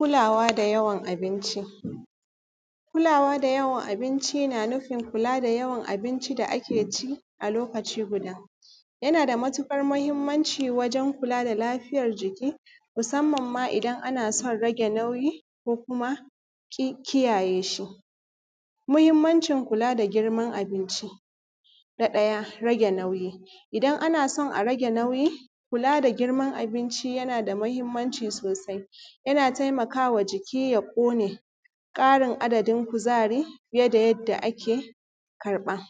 Kulawa da yawan abinci, kula wa da yawan abinci na nufin kula da yawan abinci da ake ci a lokaci guda. Yana da matuƙar mahinmanci wajen kula da lafiyar jiki musamman ma in ana son rage nauyi, ki kiyaye shi muhinmanci kula da girman abinci na ɗaya rage nauyi, idan ana so a rage nauyi kula da girman abinci yana da mahinmanci sosai, yana taimakama jiki ya ƙone ƙarin adadin kuzari fiye da yadda ake karɓa.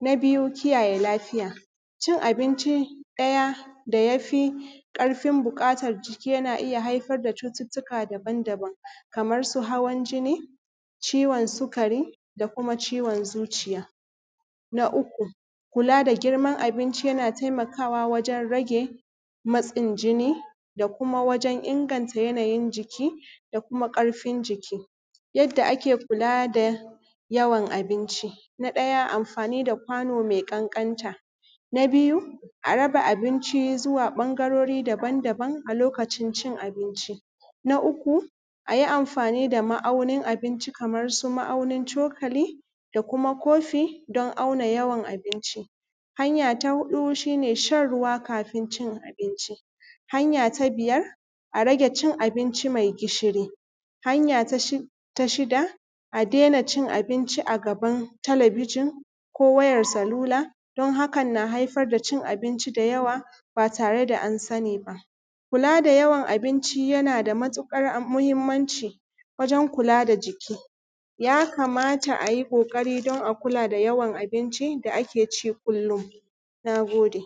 Na biyu kiyaye lafiya, kiyaye lafiya cin abinci ɗaya da ya fi ƙarfin buƙatan jiki yana iya haifar da cututtuka daban-daban kamar su hawan jinni, ciwon sukari da kuma ciwon zuciya, na uku kula da girman abinci, yana taimakawa wajen rage matsin jini da kuma wajen inganta matsin jiki da kuma ƙarfin jiki, yadda ake kula da yawan abinci, na ɗaya amfani da kwano me ƙanƙanta, na biyu a raba abinci zuwa ɓangarori daban-daban a lokacin cin abinci, na uku a yi amfani da ma’aunin abinci kamar su ma’aunin cokali da kuma kofi don auna yawan abinci, hanya ta huɗu shi ne shan ruwa kafun cin abinci, hanya ta biyar a rage cin abnci me gishiri, hanya ta shida a dena cin abinci a gabn talabijin ko wayan salula don haka yana ya haifar da cin abinci me yawa ba tare da an sani ba. Kula da yawa na abinci yana da matuƙar muhinmanci wajen kula da jiki ya kamata a ƙoƙari don a kula da yawan abinci da ake ci kullum. Na gode.